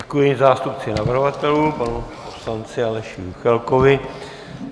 Děkuji zástupci navrhovatelů panu poslanci Aleši Juchelkovi.